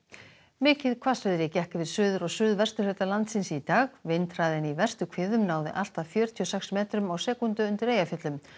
mikið hvassviðri gekk yfir suður og suðvesturhluta landsins í dag vindhraðinn í verstu hviðum náði allt að fjörutíu og sex metrum á sekúndu undir Eyjafjöllum